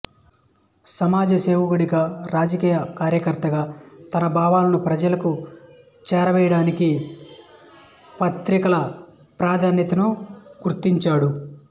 సమాజ సేవకుడిగా రాజకీయ కార్యకర్తగా తన భావాలను ప్రజలకు చేరవేయడానికి పత్రికల ప్రాధాన్యతను గుర్తించాడు